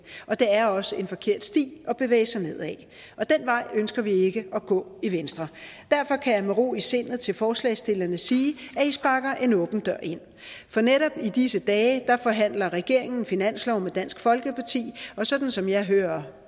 og det er også en forkert sti at bevæge sig ned ad og den vej ønsker vi ikke at gå i venstre derfor kan jeg med ro i sindet til forslagsstillerne sige at i sparker en åben dør ind for netop i disse dage forhandler regeringen finanslov med dansk folkeparti og sådan som jeg hører